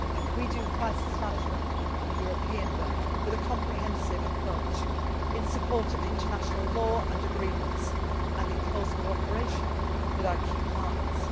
missions. We do crisis management in a European way with a comprehensive approach in support of international law and agreements and in close cooperation with our key